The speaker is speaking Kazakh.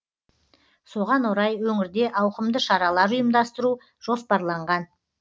соған орай өңірде ауқымды шаралар ұйымдастыру жоспарланған